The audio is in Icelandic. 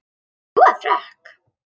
Sú er frökk!